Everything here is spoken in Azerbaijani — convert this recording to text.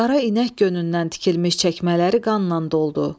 Qara inək gönündən tikilmiş çəkmələri qanla doldu.